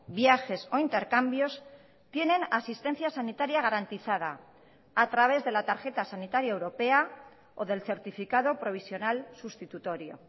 viajes o intercambios tienen asistencia sanitaria garantizada a través de la tarjeta sanitaria europea o del certificado provisional sustitutorio